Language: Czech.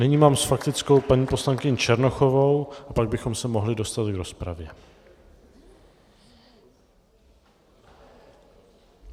Nyní mám s faktickou paní poslankyni Černochovou a pak bychom se mohli dostat k rozpravě.